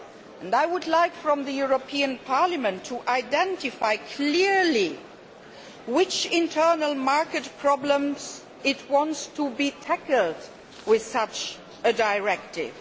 And I would like the European Parliament to identify clearly which internal market problems it wants to be tackled with such a directive.